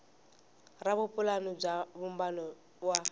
ra vupulani bya vumbano wa